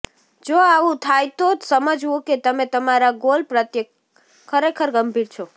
જો આવું થાય તો જ સમજવું કે તમે તમારા ગોલ પ્રત્યે ખરેખર ગંભીર છો